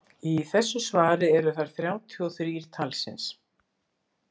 Í þessu svari eru þær þrjátíu og þrír talsins.